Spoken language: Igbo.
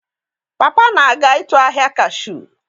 Papa na-aga ịtụ ahịa Cashu.